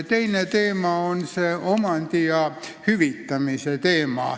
Teine teema on see omandi ja hüvitamise teema.